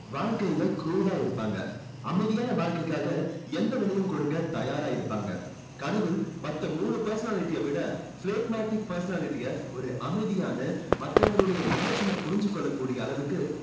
வாழ்க்கையில cool ஆ இருப்பாங்க. அமைதியான வாழ்க்கைக்காக எந்த விலையும் கொடுக்க தயாரா இருப்பாங்க. கடவுள் மத்த மூணு personality யை விட phlegmatic personality அ ஒரு அமைதியான மத்தவங்களுடைய emotion னை புரிஞ்சு கொள்ளக்கூடிய அளவுக்கு